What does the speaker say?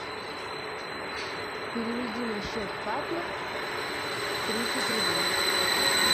переведи на счет папе тридцать рублей